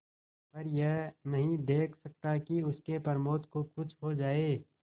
पर यह नहीं देख सकता कि उसके प्रमोद को कुछ हो जाए